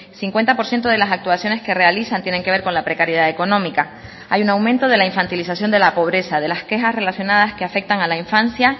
cincuenta por ciento de las actuaciones que realizan tienen que ver con la precariedad económica hay un aumento de la infantilización de la pobreza de las quejas relacionadas que afectan a la infancia